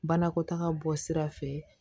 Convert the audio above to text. Banakɔtaga bɔ sira fɛ